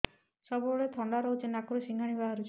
ସବୁବେଳେ ଥଣ୍ଡା ରହୁଛି ନାକରୁ ସିଙ୍ଗାଣି ବାହାରୁଚି